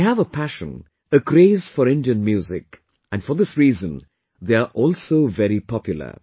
They have a passion, a craze for Indian music and for this reason they are also very popular